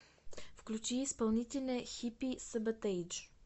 включи исполнителя хиппи саботэйдж